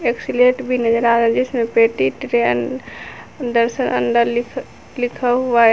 एक स्लेट भी नजर आ रहा है जिसमें पेटी ट्रे दस अंडा लिखा लिखा हुआ है।